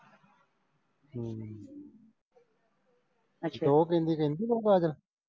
ਤੇ ਉਹ ਕਹਿੰਦੀ ਰਹਿੰਦੀ ਤੂੰ ਪਾਗ਼ਲ।